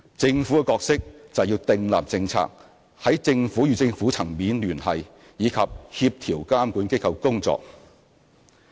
政府的角色則是訂立政策，在政府與政府層面聯繫，以及協調監管機構的工作。